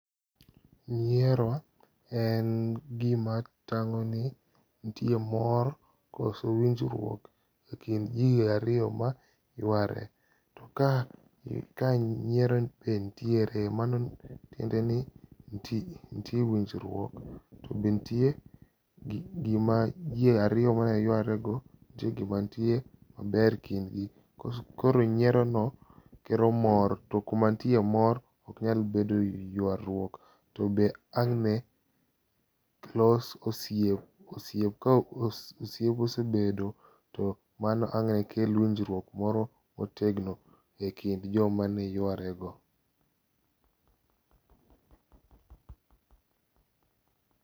nyiero en gima tang'o ni nitie mor koso winjruok e kind ji ariyo ma yuare ,to ka nyiero be nitiere mano tiende ni nitie winjruok to be nitie gima ji ariyo mane yuare go nitie gima nitie maber e kind gi, koro nyiero no kelo mor to kuma nitie mor ok nyalo bedo yuaruok, to be angne los osiep kosiep osebedo to mano ang'ne kel winjruok moro motegno e kind joma ne yuare go.